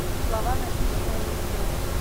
слова написанные на ветру